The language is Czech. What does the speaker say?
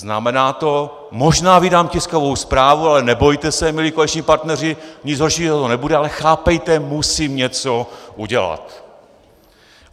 Znamená to - možná vydám tiskovou zprávu, ale nebojte se, milí koaliční partneři, nic horšího to nebude, ale chápejte, musím něco udělat.